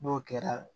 N'o kɛra